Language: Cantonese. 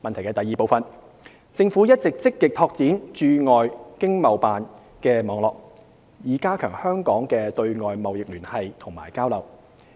二政府一直積極拓展駐海外經濟貿易辦事處的網絡，以加強香港的對外貿易聯繫及交流。